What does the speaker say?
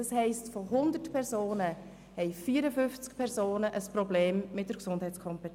Das heisst, von 100 Personen haben 54 Personen ein Problem mit der Gesundheitskompetenz.